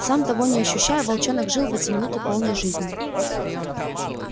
сам того не ощущая волчонок жил в эти минуты полной жизнью